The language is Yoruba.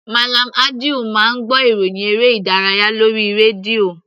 Mallam Audu máa ń gbọ́ ìròhìn eré ìdárayá lórí rédíò.